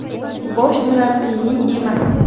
Bosh murabbiyning emas!